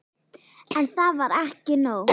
En það var ekki nóg.